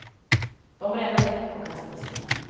De brände däck och kastade sten.